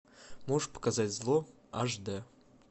можешь показать зло аш д